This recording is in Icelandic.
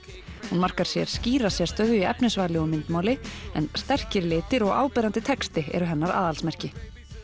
hún markar sér skýra sérstöðu í efnisvali og myndmáli en sterkir litir og áberandi texti eru hennar aðalsmerki